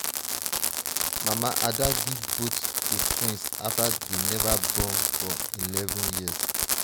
mama ada give both to twins after dey never born for eleven years.